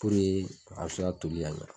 an bi se ka toli ka ɲa